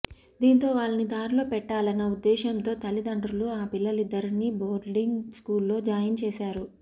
దీంతో వాళ్ళని దారిలో పెట్టాలన్న ఉద్దేశ్యంతో తల్లి దండ్రులు ఆ పిల్లలిద్దరినీ బోర్డింగ్ స్కూల్ లో జాయిన్ చేస్తారు